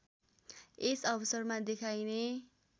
यस अवसरमा देखाइने